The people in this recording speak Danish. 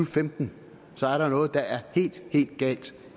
femten så er der jo noget der er helt helt galt